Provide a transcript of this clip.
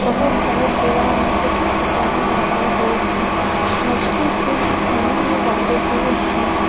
बहुत सारे दीवार में कुछ डिजाइन बनाए हुए हैं मछली फिश पानी में डाले हुए हैं।